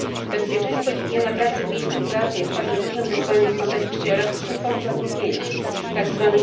Bezpieczeństwo i higiena pracy w miejscu pracy jest także dużym wyzwaniem w kontekście elastycznych form zatrudnienia, ponieważ tzw.